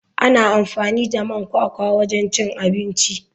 Ana amfani da man kwakwa wajen cin abinci.